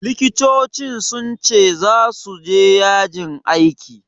Likitoci sun ce zasu je yajin aiki.